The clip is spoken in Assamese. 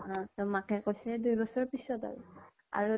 অ । তʼ মাকে কৈছে দুবছৰ পিছত আৰু । আৰু